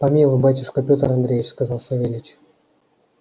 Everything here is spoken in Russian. помилуй батюшка пётр андреич сказал савельич